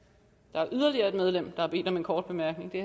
der er yderligere et medlem der har bedt om en kort bemærkning det